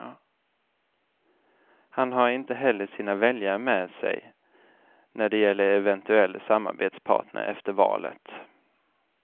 Han har inte heller sina väljare med sig när det gäller eventuell samarbetspartner efter valet.